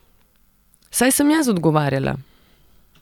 Saj sem jaz odgovarjala.